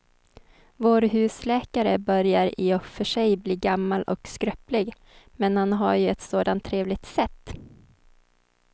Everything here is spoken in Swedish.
Vår husläkare börjar i och för sig bli gammal och skröplig, men han har ju ett sådant trevligt sätt!